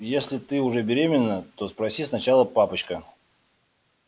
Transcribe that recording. если ты уже беременна то спроси сначала папочка